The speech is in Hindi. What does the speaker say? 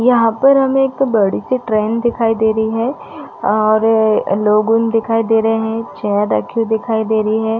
यहाँ पर हमें एक बड़ी सी ट्रैन दिखाई दे रही है और लोगों दिखाई दे रहे है चेयर रखी दिखाई दे रही है।